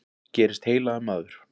Gerist heilagur maður.